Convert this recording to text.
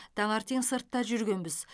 таңертең сыртта жүргенбіз